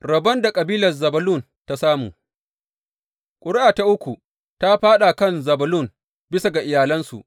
Rabon da kabilar Zebulun ta samu Ƙuri’a ta uku ta fāɗa a kan Zebulun bisa ga iyalansu.